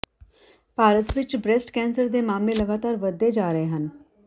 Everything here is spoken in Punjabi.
ਭਾਰਤ ਵਿਚ ਬ੍ਰੈਸਟ ਕੈਂਸਰ ਦੇ ਮਾਮਲੇ ਲਗਾਤਾਰ ਵੱਧਦੇ ਜਾ ਰਹੇ ਹਨ